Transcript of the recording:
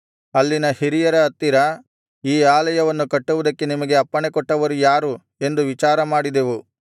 ಅಲ್ಲಿನ ಹಿರಿಯರ ಹತ್ತಿರ ಈ ಆಲಯವನ್ನು ಕಟ್ಟುವುದಕ್ಕೆ ನಿಮಗೆ ಅಪ್ಪಣೆಕೊಟ್ಟವರು ಯಾರು ಎಂದು ವಿಚಾರಮಾಡಿದೆವು